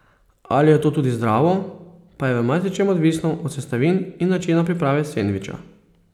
Ali je to tudi zdravo, pa je v marsičem odvisno od sestavin in načina priprave sendviča.